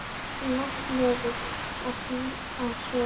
Lagði nefið að því og sogaði.